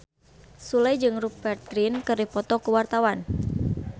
Sule jeung Rupert Grin keur dipoto ku wartawan